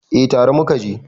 eh tare muka je